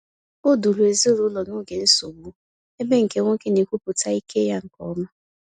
Ọ duru ezinụlọ n’oge nsogbu, ebe nke nwoke na-ekwupụta ike ya nke ọma.